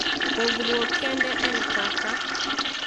Pogruok kende en kaka,